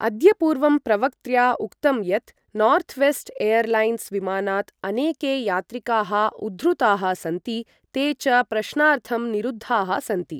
अद्य पूर्वं प्रवक्त्र्या उक्तं यत् नॉर्थवेस्ट् एयरलाइन्स् विमानात् अनेके यात्रिकाः उद्धृताः सन्ति, ते च प्रश्नार्थं निरुद्धाः सन्ति।